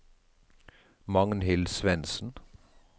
Magnhild Svensen